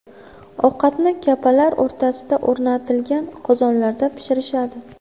Ovqatni kapalar o‘rtasiga o‘rnatilgan qozonlarda pishirishadi.